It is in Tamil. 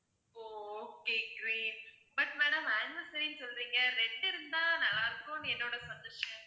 O okay green but madam anniversary ன்னு சொல்றீங்க red இருந்தா நல்லா இருக்கும்னு என்னோட suggestion